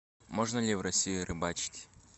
можно ли в россии рыбачить